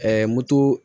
moto